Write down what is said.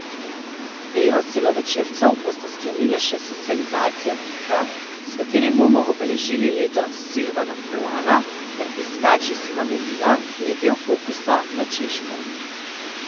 Bero celovečercev bosta sklenila še Socializacija Bika, s katerim bomo obeležili leto Silvana Furlana, ter Piskač iz Hamelina, ki je del Fokusa na Češko.